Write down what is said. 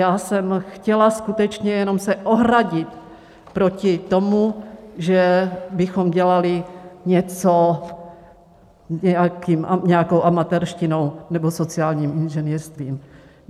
Já jsem chtěla skutečně jenom se ohradit proti tomu, že bychom dělali něco nějakou amatérštinou nebo sociálním inženýrstvím.